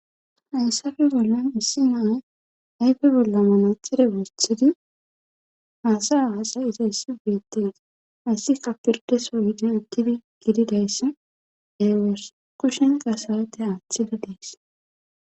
Hayssafe bollon issi naay ayfe bolla manatxide wosthidi haasa aasay iza issi beettees hayssi kapildeso gidin uttidi gididayssi ewos kushenka saate aaththidi dees.